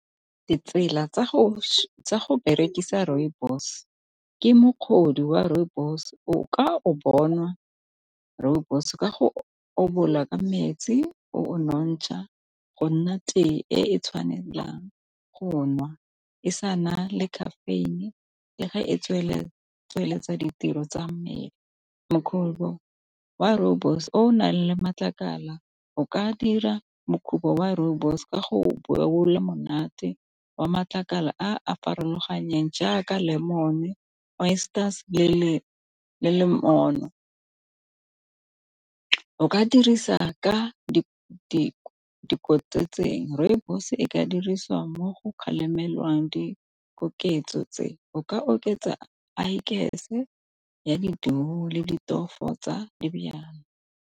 Ditsela tsa go berekisa rooibos wa rooibos o ka o bona rooibos ka go obola ka metsi o o montsha go nna tee e tshwanelang go nwa, e sa na le caffeine-i le ga e tsweletsa ditiro tsa mmele makhubu wa rooibos o nang le matlakala o ka dira makhubu wa rooibos ka go bula monate wa matlakala a a farologaneng jaaka lemon-e, oysters, le le o ka dirisa ka di tseo rooibos e ka dirisiwa mo go kgalemelwang dikoketso tse o ka oketsa le ditofo tsa .